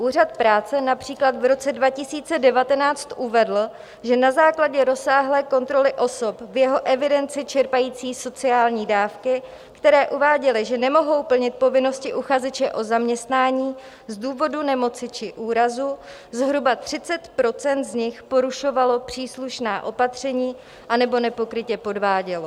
Úřad práce například v roce 2019 uvedl, že na základě rozsáhlé kontroly osob v jeho evidenci čerpajících sociální dávky, které uváděly, že nemohou plnit povinnosti uchazeče o zaměstnání z důvodu nemoci či úrazu, zhruba 30 % z nich porušovalo příslušná opatření anebo nepokrytě podvádělo.